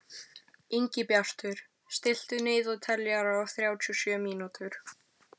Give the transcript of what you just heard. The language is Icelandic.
Ingibjartur, stilltu niðurteljara á þrjátíu og sjö mínútur.